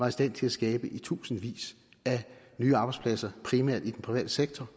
i stand til at skabe i tusindvis af nye arbejdspladser primært i den private sektor